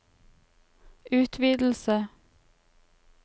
utvidelse